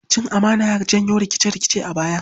Cin amana ya janyo rikice-rikice a baya.